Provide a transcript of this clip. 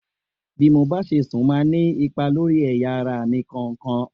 Bí mo bá ṣe sùn máa ní ipa lórí ẹ̀yà ara mi kọ̀ọ̀kan.